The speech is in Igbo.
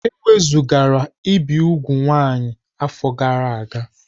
E wezugara ibi úgwù nwaanyị afọ gara aga.